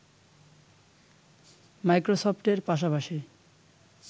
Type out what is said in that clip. মাইক্রোসফটের পাশাপাশি